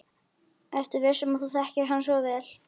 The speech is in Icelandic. Ertu viss um að þú þekkir hann svo vel?